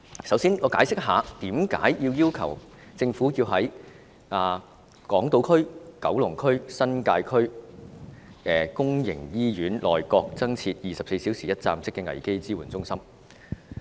首先，我解釋一下為何要求政府在港島、九龍、新界區的公營醫院內各增設24小時一站式危機支援中心。